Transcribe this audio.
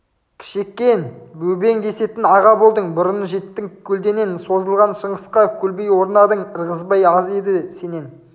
кішекең бөбең десетін аға болдың бұрын жеттің көлденең созылған шыңғысқа көлбей орнадың ырғызбай аз еді сенен